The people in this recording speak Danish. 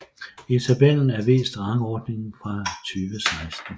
I tabellen er vist rangordningen for 2016